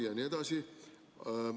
"– jne –"...